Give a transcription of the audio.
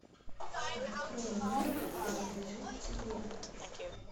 открой мир принадлежит тебе